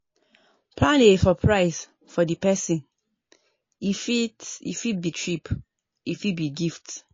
plan a suprise for di person e fit e fit be trip e fit be gift